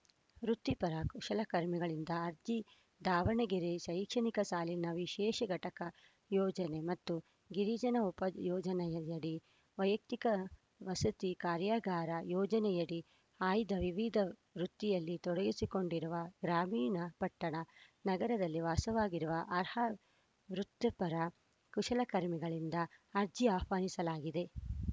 ವೃತ್ತಿಪರ ಕುಶಲಕರ್ಮಿಗಳಿಂದ ಅರ್ಜಿ ದಾವಣಗೆರೆ ಶೈಕ್ಷಣಿಕ ಸಾಲಿನ ವಿಶೇಷ ಘಟಕ ಯೋಜನೆ ಮತ್ತು ಗಿರಿಜನ ಉಪ ಯೋಜನೆಯಡಿ ವೈಯಕ್ತಿಕ ವಸತಿ ಕಾರ್ಯಾಗಾರ ಯೋಜನೆಯಡಿ ಆಯ್ದ ವಿವಿಧ ವೃತ್ತಿಯಲ್ಲಿ ತೊಡಗಿಸಿಕೊಂಡಿರುವ ಗ್ರಾಮೀಣ ಪಟ್ಟಣ ನಗರದಲ್ಲಿ ವಾಸವಾಗಿರುವ ಅರ್ಹ ವೃತ್ತಿಪರ ಕುಶಲಕರ್ಮಿಗಳಿಂದ ಅರ್ಜಿ ಆಹ್ವಾನಿಸಲಾಗಿದೆ